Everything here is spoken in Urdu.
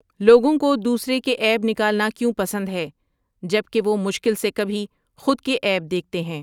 لوگوں کو دوسروں کے عیب نکالنا کیوں پسند ہے جبکہ وہ مشکل سے کبھی خود کے عیب دیکھتے ہیںن